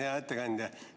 Hea ettekandja!